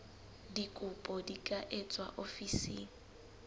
dikopo di ka etswa ofising